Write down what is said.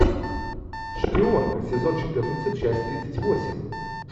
шпионка сезон четырнадцать часть тридцать восемь